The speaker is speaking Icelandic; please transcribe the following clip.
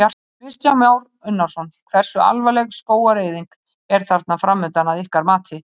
Kristján Már Unnarsson: Hversu alvarleg skógareyðing er þarna framundan að ykkar mati?